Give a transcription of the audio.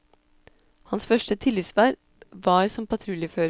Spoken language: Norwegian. Hans første tillitsverv var som patruljefører.